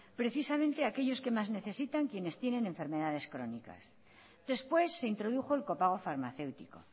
precisamente aquellos que más necesitan quienes tienen enfermedades crónicas después se introdujo el copago farmaceútico